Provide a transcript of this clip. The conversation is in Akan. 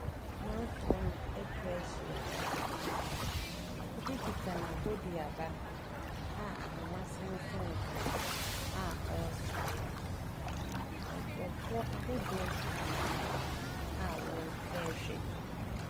Amanfoɔ no atwa ahyia. Papa bi kita n'aboduaba a ahoma sensɛn so, a ɔresa. Nkurɔfoɔ ahodoɔ nso gyina hɔ a wɔrehwɛ.